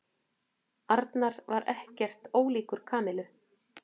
Arnar var ekkert ólíkur Kamillu.